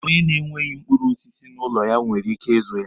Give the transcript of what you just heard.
Onye na-enweghi mkpụrụ osisi n'ụlọ ya nwere ike ịzụ ya.